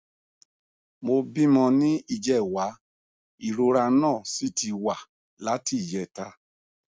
mo bímọ ní ìjẹwàá ìrora náà sì ti wà láti ìjẹta